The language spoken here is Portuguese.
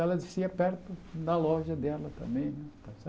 Ela descia perto da loja dela também.